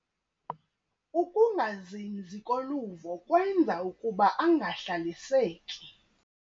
Ukungazinzi koluvo kwenza ukuba angahlaliseki.